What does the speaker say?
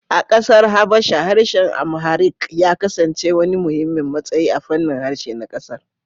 A kasar Habasha, harshen Amharic ya kasance wani muhimmin matsayi a fannin harshe na kasar